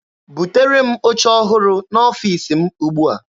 Butere m oche ọhụrụ n'ọfiisi m ugbua!